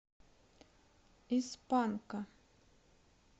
из панка